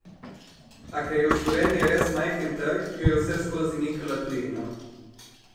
A ker je v Sloveniji res majhen trg, jo je vseskozi mikala tujina.